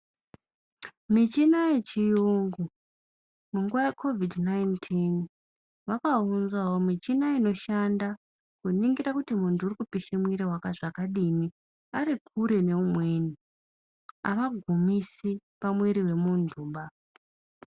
Michina yechirungu munguwa yecovid 19 yakaonzawo michina inoshandawo kuningira kuti muntu uri kupisha mwiri zvakadini Ari kure neumweni avagumisi pamwiri yemuntu.